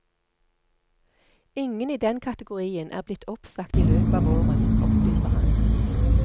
Ingen i den kategorien er blitt oppsagt i løpet av våren, opplyser han.